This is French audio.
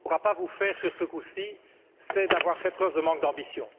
pourra pas vous faire sur ce coup ci, c'est d'avoir fait preuve de manque d'ambition.